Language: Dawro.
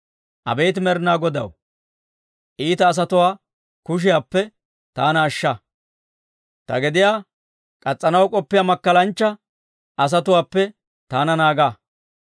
Abeet Med'inaa Godaw, iita asatuwaa kushiyaappe, taana ashsha; ta gediyaa k'as's'anaw k'oppiyaa makkalanchcha asatuwaappe taana naaga.